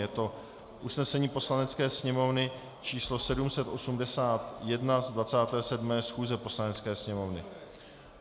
Je to usnesení Poslanecké sněmovny číslo 781 z 27. schůze Poslanecké sněmovny.